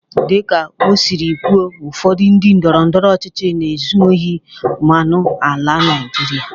Dịka o siri kwuo, ụfọdụ ndị ndọrọndọrọ ọchịchị na-ezu ohi mmanụ ala Naijiria.